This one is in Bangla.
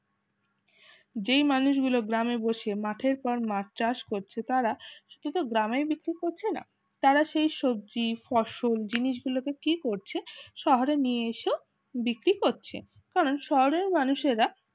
যেই মানুষগুলো গ্রামে বসে মাঠের পর মাছ চাষ করছে তারা সেটাতো গ্রামে বিক্রি করছে না তারা সেই সবজি ফসল জিনিসগুলোকে কি করছে শহরে নিয়ে এসো বিক্রি করছে কারণ শহরে মানুষেরা